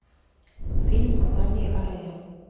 фильм с натальей орейро